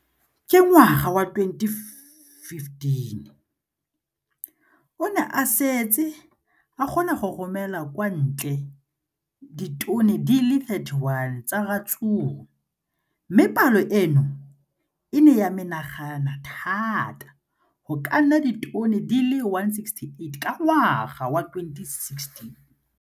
Ka ngwaga wa 2015, o ne a setse a kgona go romela kwa ntle ditone di le 31 tsa ratsuru mme palo eno e ne ya menagana thata go ka nna ditone di le 168 ka ngwaga wa 2016.